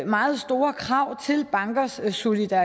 meget store krav til bankers soliditet